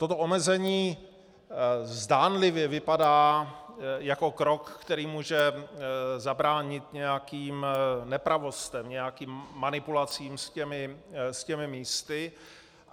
Toto omezení zdánlivě vypadá jako krok, který může zabránit nějakým nepravostem, nějakým manipulacím s těmi místy.